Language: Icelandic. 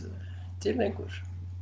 til lengur